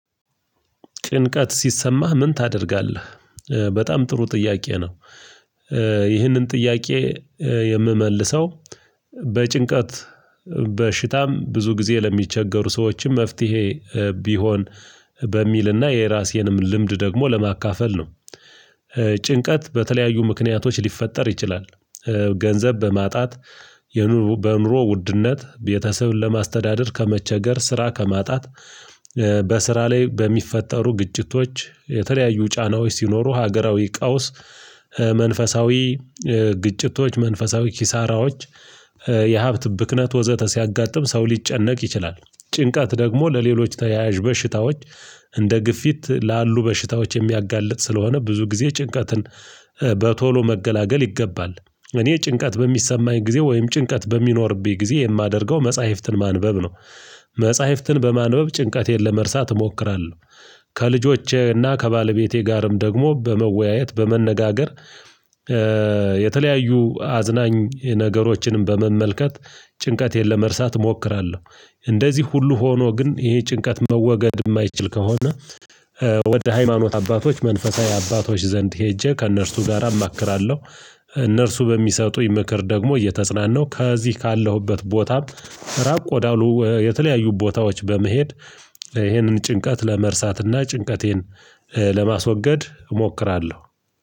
ጭንቀት ሲሰማህ ምን ታደርጋለህ? በጣም ጥሩ ጥያቄ ነው። ይህንን ጥያቄ የምመልሰው በጭንቀት በሽታም ብዙ ጊዜ ለሚቸገሩ ሰዎችም መፍትሄ ቢሆን በሚልና የራሴንም ልምድ ደግሞ ለማካፈል ነው። ጭንቀት በተለያዩ ምክንያቶች ሊፈጠር ይችላል። ገንዘብ በማጣት በኑሮ ውድነት ቤተሰብን ለማስተዳደር ከመቸገር ስራ ከማጣት። በስራ ላይ በሚፈጠሩ ግጭቶች የተለያዩ ጫናዎች ሲኖሩ ሀገራዊ ቀውስ መንፈሳዊ ግጭቶች መንፈሳዊ ኪሳራዎች የሀብት ብክነት ወዘተ ሲያጋጥም ሰው ሊጨነቅ ይችላል። ጭንቀት ደግሞ ለሌሎች ተያያዥ በሽታዎች እንደ ግፊት ላሉ በሽታዎች የሚያጋልጥ ስለሆነ ብዙ ጊዜ ጭንቀትን በቶሎ መገላገል ይገባል። እኔ ጭንቀት በሚሰማኝ ጊዜ ወይም ጭንቀት በሚኖርብኝ ጊዜ የማደርገው መጽሐፍትን ማንበብ ነው። መጽሐፍትን በማንበብ ጭንቀቴን ለመርሳት እሞክራለሁ። ከልጆቼና ከባለቤቴ ጋርም ደግሞ በመወያየት በመነጋገር የተለያዩ አዝናኝ ነገሮችንም በመመልከት ጭንቀት የለመርሳት እሞክራለሁ። እንደዚህ ሁሉ ሆኖ ግን ይሄ ጭንቀት መወገድ የማይችል ከሆነ። ወደ ሃይማኖት አባቶች መንፈሳዊ አባቶች ዘንድ ሄጄ ከእነርሱ ጋር አማክራለሁ። እነርሱ በሚሰጡኝ ምክር ደግሞ እየተጽናናው ከዚህ ካለሁበት ቦታ ራቅ ወዳሉ የተለያዩ ቦታዎች በመሄድ። ይሄንን ጭንቀት ለመርሳትና ጭንቀቴን ለማስወገድ እሞክራለሁ።